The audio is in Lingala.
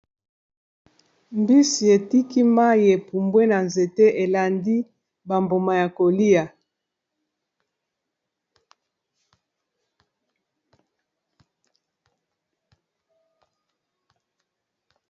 mbisi etiki mai epumbwe na nzete elandi bambuma ya kolia